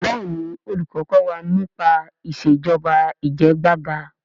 béèni olùkó kò wá nípa Ìṣèjọba Ìjẹgàba.